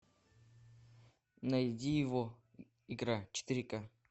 найди его игра четыре ка